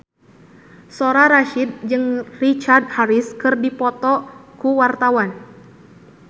Soraya Rasyid jeung Richard Harris keur dipoto ku wartawan